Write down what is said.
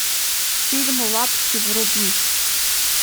фильм лапси вруби